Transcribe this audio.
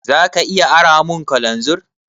Za ka iya aramun kananzir?